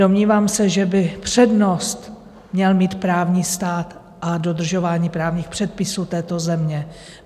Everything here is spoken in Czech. Domnívám se, že by přednost měl mít právní stát a dodržování právních předpisů této země.